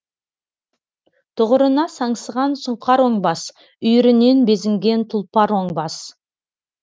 тұғырына саңсыған сұңқар оңбас үйірінен безінген тұлпар оңбас